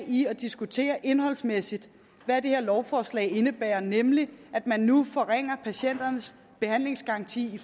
i at diskutere det indholdsmæssige hvad det her lovforslag indebærer nemlig at man nu forringer patienternes behandlingsgaranti i